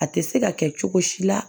A tɛ se ka kɛ cogo si la